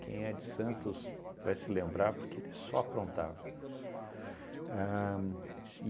Quem é de Santos vai se lembrar, porque eles só aprontavam. Ahn